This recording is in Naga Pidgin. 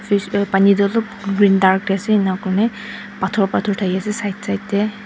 pani toh alup green dark te ase ena kurikena bathor bathor dakhi ase side side te.